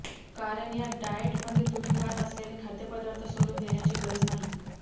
कारण या डाएटमध्ये तुम्ही खात असलेले खाद्यपदार्थ सोडून देण्याची गरज नाही